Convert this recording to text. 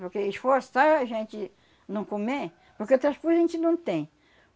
Porque esforçar a gente não comer... Porque outras coisas a gente não tem.